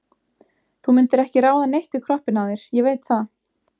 Þú mundir ekki ráða neitt við kroppinn á þér, ég veit það.